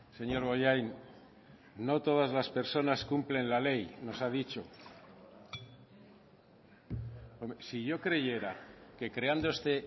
señor bollain no todas las personas cumplen la ley nos ha dicho si yo creyera que creando este